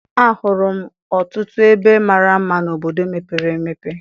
A hụrụ m ọtụtụ ebe mara mma n'obodo mepere emepe.